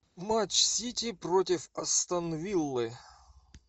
матч сити против астон виллы